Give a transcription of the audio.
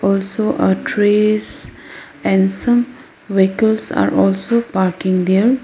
also a trees and some vehicles are also parking there.